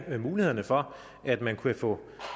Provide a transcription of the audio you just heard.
mulighederne for at man kunne få